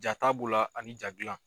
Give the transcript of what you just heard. Ja ta bolo ani ja dilan.